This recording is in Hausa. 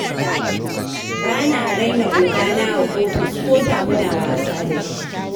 Ba na raina ogana a ofis koda muna wasa da shi.